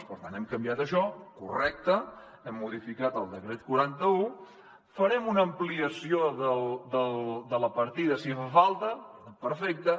per tant hem canviat això correcte hem modificat el decret quaranta un dos mil vint farem una ampliació de la partida si fa falta perfecte